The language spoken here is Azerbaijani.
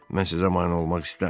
Mən sizə mane olmaq istəmirəm.